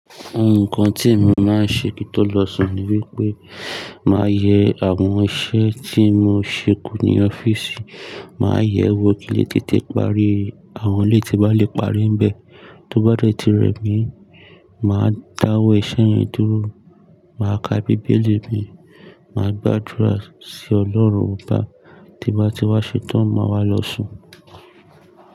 Nǹkan tí emi máa ń ṣe kí n tó lọ sùn ni wípé máa yẹ àwọn iṣẹ́ tí mo ṣe kù ní ọ́fíìsì, màá yẹ̀ ẹ́ wọ kin le tètè parí àwọn eleyii tín bá lè parí ń bẹ. Tó bá dẹ̀ ti rẹ̀ mi, màá dáwọ́ iṣẹ́ yẹn dúró, màá ka Bíbélì mi, màá gbàdúrà sí Ọlọ́run, obá ti n bá ti wá ṣétán, màá wá lọ sùn.